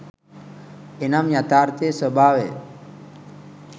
එනම් යථාර්ථයේ ස්භාවය